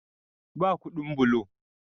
Ba kudin bulo